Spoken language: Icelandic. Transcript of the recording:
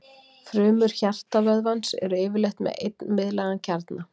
Frumur hjartavöðvans eru yfirleitt með einn miðlægan kjarna.